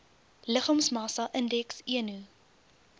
liggaamsmassa indeks eno